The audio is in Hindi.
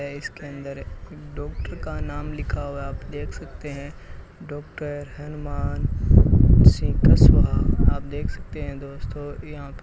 ये इसके अंदर डॉक्टर का नाम लिखा हुआ है आप देख सकते हैं डॉक्टर हनुमान सिंह कस्वा आप देख सकते हैं दोस्तों यहां --